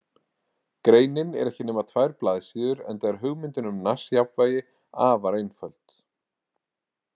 Greinin er ekki nema tvær blaðsíður enda er hugmyndin um Nash-jafnvægi afar einföld.